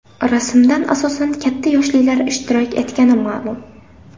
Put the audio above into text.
Rasmdan asosan katta yoshlilar ishtirok etgani ma’lum.